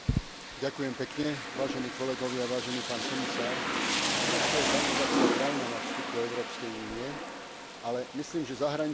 Turecko je kandidátska krajina na vstup do Európskej únie, ale myslím, že zahraničná politika Európskej únie nemôže čakať na výsledok tohto procesu.